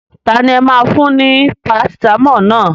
Tani ẹ máa fún ní Parasitamọ́ọ̀ naa?